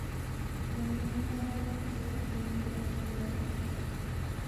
Konon mwauutik che bo nguni chepo chilet ap karishek